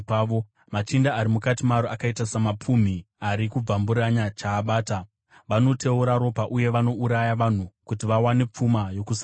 Machinda ari mukati maro akaita samapumhi ari kubvamburanya chaabata; vanoteura ropa uye vanouraya vanhu kuti vawane pfuma yokusarurama.